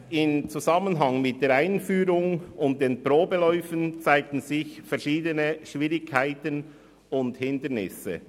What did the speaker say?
Bereits im Zusammenhang mit der Einführung und den Probeläufen zeigten sich verschiedene Schwierigkeiten und Hindernisse.